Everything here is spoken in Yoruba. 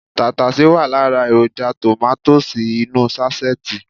Tàtàsé wà lára èròjà tòmátósì inú ú sáṣẹ́ẹ̀tì